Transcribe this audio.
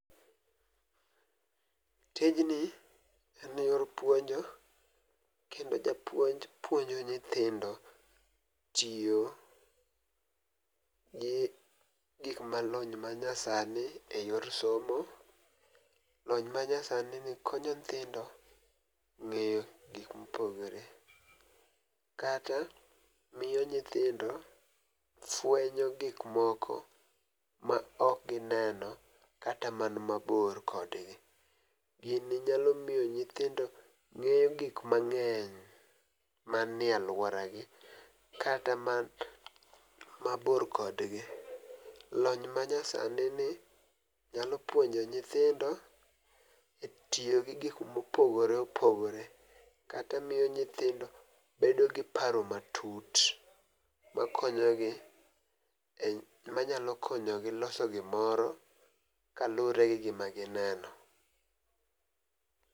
Tijni en yor puonjo kendo japuonj puonjo nyithindo tiyo gi gik ma lony ma nya sani e yor somo . Lony ma nya sani ni konyo nyithindo ng'eyo gik mopogore kata miyo nyithindo fwenyo gik moko ma ok gineno kata man mabor kodgi. Gini nyalo miyo nyithindo ng'eyo gik mang'eny manie aluora gi kata man mabor kodgi. Lony ma nya sani ni nyalo puonjo nyithindo e tiyo gi gik mopogore opogore kata miyo nyithindo bedo gi paro matut ma konyo gi e manyalo konyo gi loso gimoro kaluwre gi gima gineno.